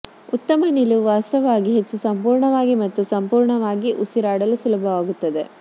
ಉತ್ತಮ ನಿಲುವು ವಾಸ್ತವವಾಗಿ ಹೆಚ್ಚು ಸಂಪೂರ್ಣವಾಗಿ ಮತ್ತು ಸಂಪೂರ್ಣವಾಗಿ ಉಸಿರಾಡಲು ಸುಲಭವಾಗುತ್ತದೆ